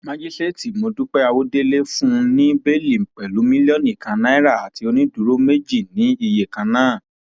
májíṣẹẹtì mọdúpẹ àwọdélé fún un ní bẹẹlí pẹlú mílíọnù kan náírà àti onídúró méjì ní iye kan náà